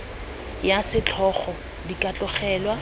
ya setlhogo di ka tlogelwa